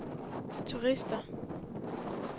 turister